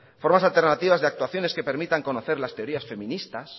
formas alternativas de actuaciones que permitan conocer las teorías feministas